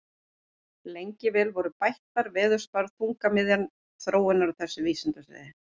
Lengi vel voru bættar veðurspár þungamiðja þróunar á þessu vísindasviði.